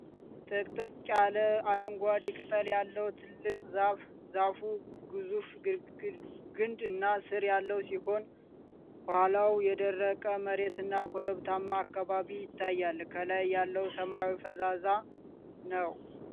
ጥቅጥቅ ያለ፣ አረንጓዴ ቅጠል ያለው ትልቅ ዛፍ ። ዛፉ ግዙፍ ግንድ እና ሥር ያለው ሲሆን፣ ከኋላው የደረቀ መሬትና ኮረብታማ አካባቢ ይታያል። ከላይ ያለው ሰማይ ፈዛዛ ነው።